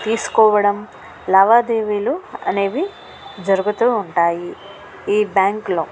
తీసుకోవడం లావాదేవీలు అనేవి జరుగుతుంటాయి ఈ బ్యాంక్ లో.